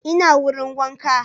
Ina wurin wanka